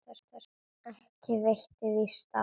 Ekki veitti víst af.